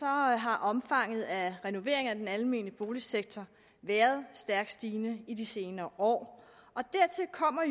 har har omfanget af renoveringer af den almene boligsektor været stærkt stigende i de senere år dertil kommer